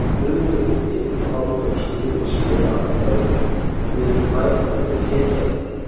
Guðmundur Ingvi og Halldór skiluðu sératkvæði og vildu bæta við fégjaldi.